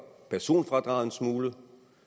personfradraget en smule